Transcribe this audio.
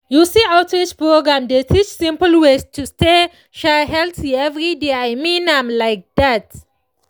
you see outreach programs dey teach simple ways to stay healthy every day i mean am like dat